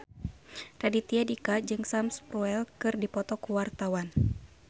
Raditya Dika jeung Sam Spruell keur dipoto ku wartawan